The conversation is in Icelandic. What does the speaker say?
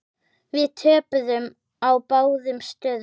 Við töpuðum á báðum stöðum.